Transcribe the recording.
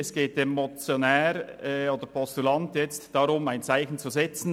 Es geht dem Motionär oder jetzigen Postulanten darum, ein Zeichen zu setzen.